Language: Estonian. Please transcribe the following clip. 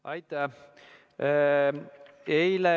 Aitäh!